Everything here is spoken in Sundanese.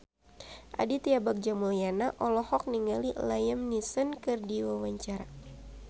Aditya Bagja Mulyana olohok ningali Liam Neeson keur diwawancara